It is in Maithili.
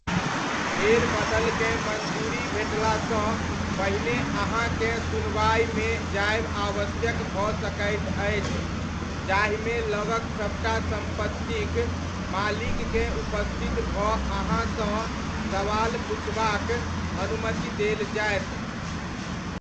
फेरबदलकेँ मञ्जूरी भेटलासँ पहिने अहाँकेँ सुनवाइमे जायब आवश्यक भऽ सकैत अछि जाहिमे लगक सबटा सम्पत्तिक मालिककेँ उपस्थित भऽअहाँसँ सवाल पुछबाक अनुमति देल जायत।